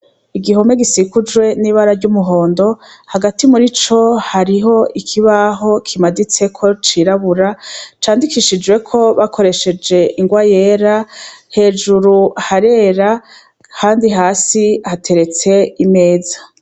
Igihome gisikucwe n'ibara ry'umuhondo. Hagati muri co hariho hariho ikibaho kimaditseko cirabura candikishijweko bakoresheje ingwa yera. Hejuru harera kandi hasi hateretse imeza.